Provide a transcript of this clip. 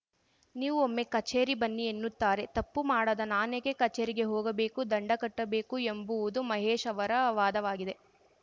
ನೀವು ಒಮ್ಮೆ ಕಚೇರಿ ಬನ್ನಿ ಎನ್ನುತ್ತಾರೆ ತಪ್ಪು ಮಾಡದ ನಾನೇಕೆ ಕಚೇರಿಗೆ ಹೋಗಬೇಕು ದಂಡ ಕಟ್ಟಬೇಕು ಎಂಬುವುದು ಮಹೇಶ್‌ ಅವರ ವಾದವಾಗಿದೆ